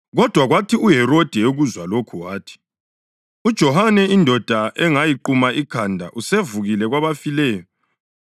Kodwa kwathi uHerodi ekuzwa lokhu wathi, “UJohane, indoda engayiquma ikhanda usevukile kwabafileyo!”